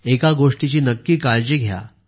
एका गोष्टीची नक्की काळजी घ्या